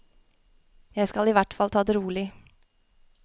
Jeg skal i hvert fall ta det rolig.